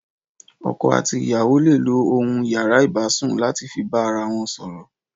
Ọkọ àtí ìyàwó lé ló óhún iyàrá ibúsún làtí fi bà àrà wọn sọrọ